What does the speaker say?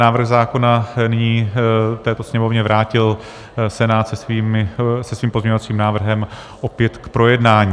Návrh zákona nyní této Sněmovně vrátil Senát se svým pozměňovacím návrhem opět k projednání.